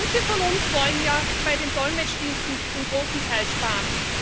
Manche von uns wollen ja bei den Dolmetschdiensten zum großen Teil sparen.